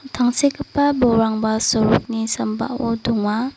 tangsekgipa bolrangba sorokni sambao donga.